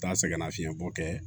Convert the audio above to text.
Taa sɛgɛnnafiɲɛbɔ kɛ